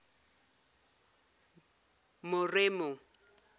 moremo